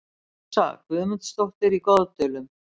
Rósa Guðmundsdóttir í Goðdölum